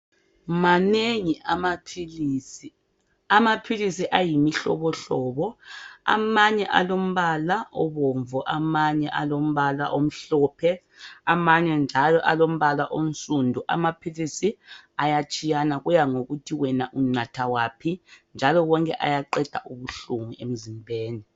manengi amaphilisi amaphilisi ayimihlobohlobo amanye alombala obomvu amanye alombala omhlophe amanye njalo alombala onsundu amaphilisi ayatshiyana kuya ngokuthi wena unatha aphi njalo onke ayaqeda ubuhlungu emzimbeni